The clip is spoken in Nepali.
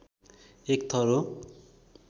एक थर हो